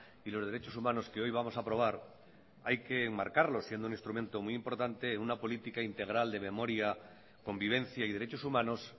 y los derechos humanos que hoy vamos a aprobar hay que enmarcarlo siendo un instrumento muy importante en una política integral de memoria convivencia y derechos humanos